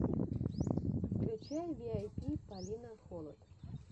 включай виайпи полина холод